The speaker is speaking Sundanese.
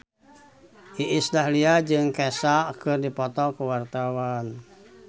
Iis Dahlia jeung Kesha keur dipoto ku wartawan